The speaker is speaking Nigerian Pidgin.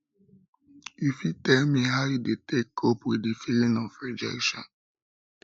you fit tell me how you dey take cope with di feeling of rejection